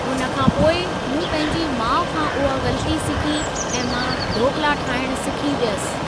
हुन खां पोइ, मूं पंहिंजी माउ खां उहा ग़लती सीखी ऐं मां ढोकला ठाहिण सीखी वियसि।